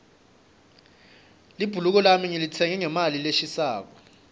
libhuluko lami ngilitsenge ngemali leshisako